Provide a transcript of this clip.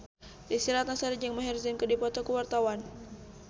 Desy Ratnasari jeung Maher Zein keur dipoto ku wartawan